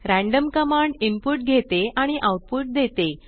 random command input घेते आणि output देते